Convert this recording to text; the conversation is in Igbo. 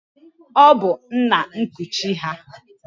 Ọ bụ nna nkuchi ha.